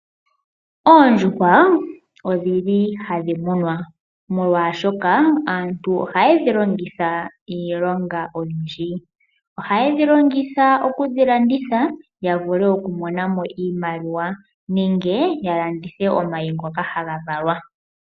Oondjuhwa odhili hadhi munwa omolwashoka aantu ohaye dhi longitha iilonga oyindji. Ohaye dhi longitha okudhi landitha ya vule okumona mo iimaliwa nenge ya landithe omayi ngoka haga valwa.